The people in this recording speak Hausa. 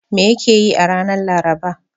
Me yake yi a ranar Laraba?